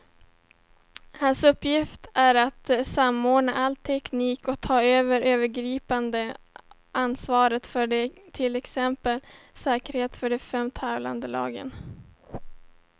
Hans uppgift är att samordna all teknik och ta det övergripande ansvaret för till exempel säkerheten för de fem tävlande lagen.